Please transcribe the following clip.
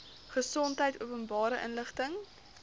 gesondheid openbare inligting